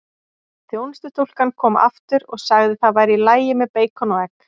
Þjónustustúlkan kom aftur og sagði það væri í lagi með beikon og egg.